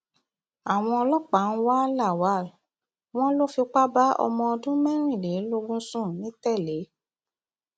àwọn ọlọpàá ń wá lawal wọn lọ fipá bá ọmọ ọdún mẹrìnlélógún sùn nìtẹlé